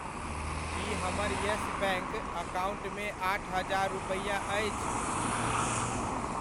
की हमर Yes Bank अकाउण्टमे आठ हजार रूपैआ अछि?